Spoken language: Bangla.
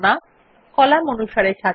কলাম অনুসারে সাজানো